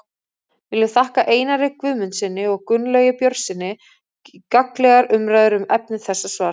Við viljum þakka Einari Guðmundssyni og Gunnlaugi Björnssyni gagnlegar umræður um efni þessa svars.